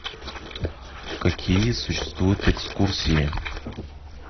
какие существуют экскурсии